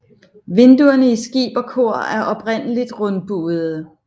Vinduerne i skib og kor er oprindeligtrundbuede